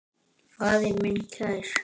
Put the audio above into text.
Faðir minn kær.